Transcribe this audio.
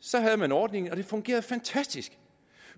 så havde man ordningen og det fungerede fantastisk